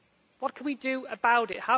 What can we do about